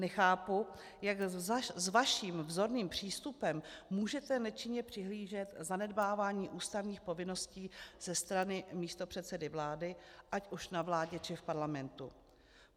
Nechápu, jak s vaším vzorným přístupem můžete nečinně přihlížet zanedbávání ústavních povinností ze strany místopředsedy vlády ať už na vládě, či v Parlamentu.